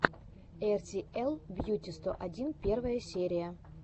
эр си эл бьюти сто один первая серия